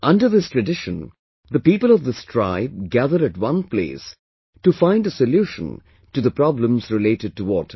Under this tradition, the people of this tribe gather at one place to find a solution to the problems related to water